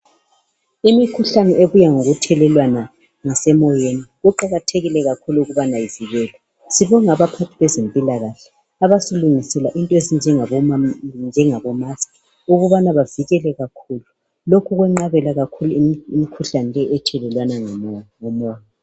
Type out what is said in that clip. Imikhuhlane ebuya ngokuthelelwana., ngasemoyeni. Kuqakathrkile ukuthi ivikelwe. Sibonga abaphathi bezempilakahle, abasilungisela into ezinjengama masks. Ukubana bavikele kakhulu. Lokhu kwenqabela kakhulu, imikhuhlane leyi ethelelwana ngomoya.